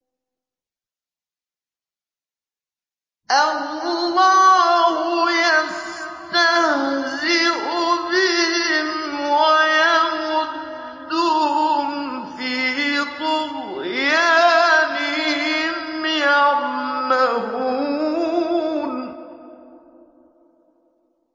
اللَّهُ يَسْتَهْزِئُ بِهِمْ وَيَمُدُّهُمْ فِي طُغْيَانِهِمْ يَعْمَهُونَ